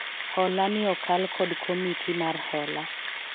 hola ni okal kod komiti mar hola